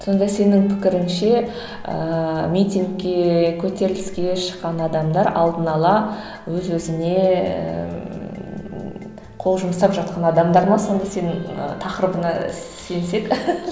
сонда сенің пікіріңше ыыы митингке көтеріліске шыққан адамдар алдын ала өз өзіне ііі қол жұмсап жатқан адамдар ма сонда сенің тақырыбыңа ы сенсек